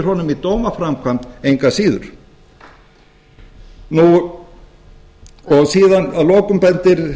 honum í dómaframkvæmd engu að síður síðan að lokum bendir